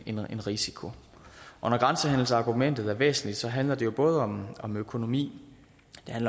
en risiko når grænsehandelsargumentet er væsentligt handler det jo både om om økonomi